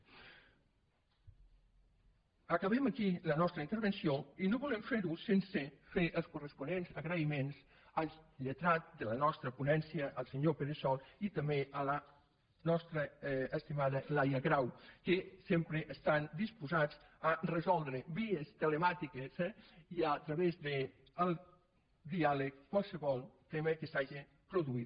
acabem aquí la nostra intervenció i no volem fer·ho sense fer els corresponents agraïments al lletrat de la nostra ponència el senyor pere sol i també a la nos·tra estimada laia grau que sempre estan disposats a resoldre vies telemàtiques eh i a través del diàleg qualsevol tema que s’hagi produït